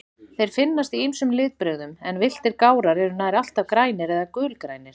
Þeir finnast í ýmsum litbrigðum, en villtir gárar eru nær alltaf grænir eða gulgrænir.